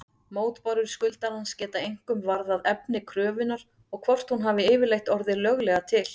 Mótbárur skuldarans geta einkum varðað efni kröfunnar og hvort hún hafi yfirleitt orðið löglega til.